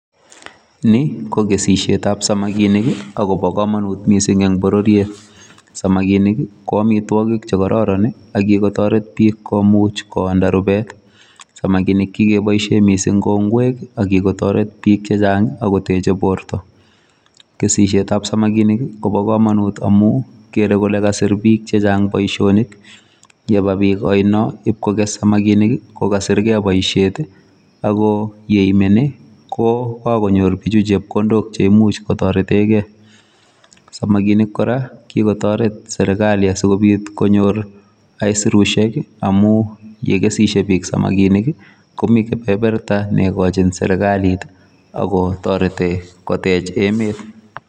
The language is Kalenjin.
Ni ko kesishietab samakinik akobo komonut mising eng bororiet. Samakinik ko omitwogik che kororon akikotoret bik komuch koonda rubet. Samakinik kikeboisie mising kou ngwek akikotoret bik chechang akotechei borto. Kesishietab samakinik kobo komonut amu kerei kole kasir bik chechang boisionik. Yeba bik oino ibkokes samakinik kokasirkei boisiet ako yeimeni kokakonyor bichu chepkondok cheimuch kotoretekei. Samakinik kora kikotoret serikali asikopit konyor aisirusiek amu yekesishiei bik komi kebeberta neikochin serikalit akotoretei kotech emet.